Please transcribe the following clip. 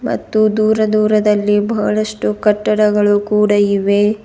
ಮತ್ತು ದೂರ ದೂರದಲ್ಲಿ ಬಹಳಷ್ಟು ಕಟ್ಟಡಗಳು ಕೂಡ ಇವೆ.